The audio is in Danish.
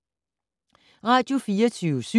Radio24syv